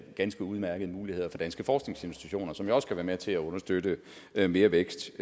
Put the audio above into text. ganske udmærkede muligheder for danske forskningsinstitutioner som også kan være med til at understøtte mere vækst